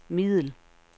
middel